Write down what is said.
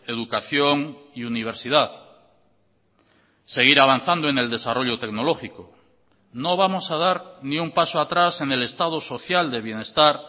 educación y universidad seguir avanzando en el desarrollo tecnológico no vamos a dar ni un paso atrás en el estado social de bienestar